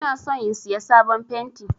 Ina son in Siya sabon fenti.